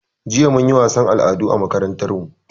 Jiya mun yi wasan al'adu a makarantan mu